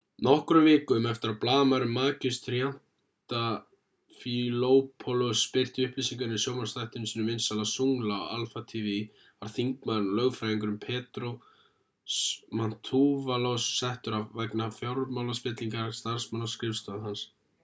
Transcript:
nokkrum vikum eftir að blaðamaðurinn makis triantafylopoulos birti upplýsingarnar í sjónvarpsþættinum sínum vinsæla zoungla á alpha tv var þingmaðurinn og lögfræðingurinn petros mantouvalos settur af vegna fjármálaspillingar starfsmanna á skrifstofu hans